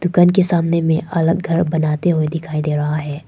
घर के सामने में अलग घर बनाते हुए दिखाई दे रहा है।